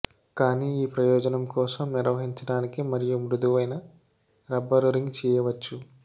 కానీ ఈ ప్రయోజనం కోసం నిర్వహించడానికి మరియు మృదువైన రబ్బరు రింగ్ చేయవచ్చు